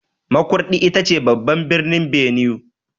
Makurdi ita ce babban birnin Benue.